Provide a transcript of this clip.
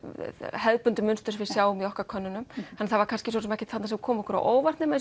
hefðbundið mynstur sem við sjáum í okkar könnunum en það var svo sem ekkert þarna sem kom okkur á óvart nema